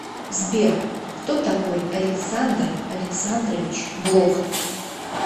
сбер кто такой александр александрович блок